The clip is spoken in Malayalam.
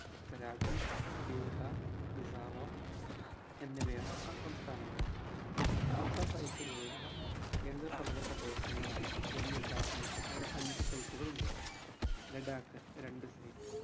ഉത്തരാഖണ്ഡ് ബീഹാർ മിസോറം എന്നിവയാണ് ആ സംസ്ഥാനങ്ങൾ റാംസാർ site കളുള്ള കേന്ദ്ര ഭരണ പ്രദേശങ്ങളാണ് ജമ്മുകാശ്മീർ അവിടെ അഞ്ച് site കളുണ്ട് ലഡാക് രണ്ട് site